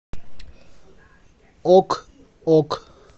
ок ок